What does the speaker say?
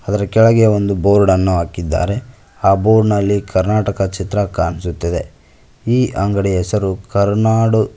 ಅದರ ಕೆಳಗೆ ಒಂದು ಬೋರ್ಡ್ ಅನ್ನು ಹಾಕಿದ್ದಾರೆ ಆ ಬೋರ್ಡ್ ನಲ್ಲಿ ಕರ್ನಾಟಕ ಚಿತ್ರ ಕಾಣಿಸುತ್ತಿದೆ ಈ ಅಂಗಡಿಯ ಹೆಸರು ಕರುನಾಡು --